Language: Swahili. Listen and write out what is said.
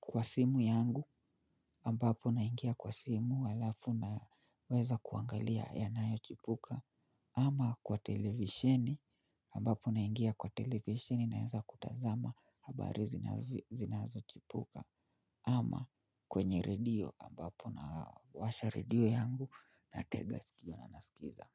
kwa simu yangu ambapo naingia kwa simu alafu naweza kuangalia yanayochipuka ama kwa televishini ambapo naingia kwa televishini naweza kutazama habari zinazojiri zinazochipuka ama kwenye redio ambapo nawasha redio yangu natega sikio na nasikiliza.